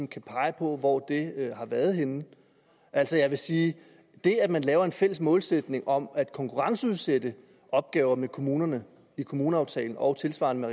kan pege på hvor det har været henne altså jeg vil sige at det at man laver en fælles målsætning om at konkurrenceudsætte opgaver i kommuner med kommuneaftalen og tilsvarende